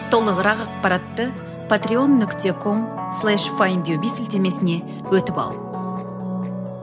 толығырақ ақпаратты патрион нүкте ком слеш файндюби сілтемесіне өтіп ал